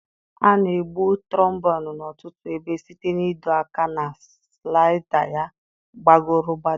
A na-egbu trombonụ n'ọtụtụ ebe site n'ịdo aka na slaịda ya gbagọrọ gbadaa.